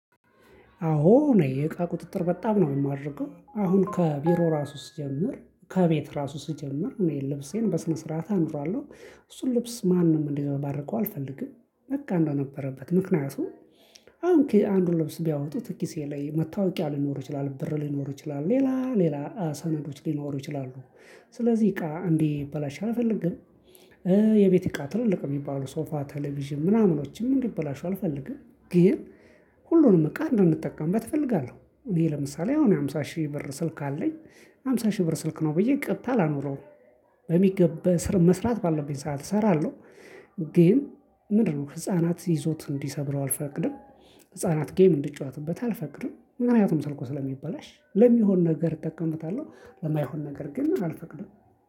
አዎ እኔ የእቃ ቁጥጥር በጣም ነው የማደርገው፤ አሁን ከቢሮ ራሱ ስጀምር፤ ከቤት ራሱ ስጀምር፤ እኔ ልብሴን በስነ ስርዓት አኖራለሁ። እሱን ልብስ ማንም እንዲዘባርቀው አልፈልግም። በቃ እንደነበረበት ምክንያቱም አሁን አንዱን ልብስ ቢያወጡት ኪሴ ላይ መታወቂያ ሊኖር ይችላል፤ ብር ሊኖር ይችላል፤ ሌላ ሌላ ሰነዶች ሊኖሩ ይችላሉ። ስለዚህ እቃ እንዲበላሽ አልፈልግም። የቤት እቃ ትልልቅ የሚባለው ሶፋ፣ ቴሌቪዥን ምናምኖችም እንዲበላሹ አልፈልግም። ግን ሁሉንም እቃ እንድንጠቀምበት እፈልጋለሁ። እኔ ለምሳሌ አሁን የሀምሳ ሺህ ብር ስልክ አለኝ። የሀምሳ ሺህ ብር ስልክ ነው ብዬ ቀጥታ አላኖረውም። በሚገባ መስራት ባለብኝ ሰዓት እሰራለሁ፤ ግን ምንድነው ህፃናት ይዞት እንዲሰብረው አልፈቅድም። ህፃናት ጌም እንዲጫወትበት አልፈቅድም። ምክንያቱም ሰልኩ ስለሚበላሽ ለሚሆን ነገር እጠቀምበታለሁ። ለማይሆን ነገር ግን አልፈቅድም።